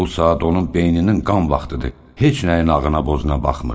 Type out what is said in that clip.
Bu saat onun beyninin qan vaxtıdır, heç nəyin ağına-bozuna baxmır.